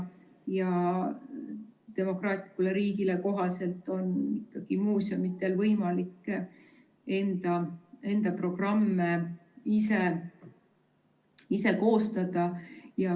Demokraatlikule riigile kohaselt on muuseumidel võimalik enda programme ise koostada.